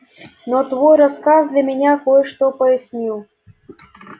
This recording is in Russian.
но твой рассказ для меня кое-что прояснил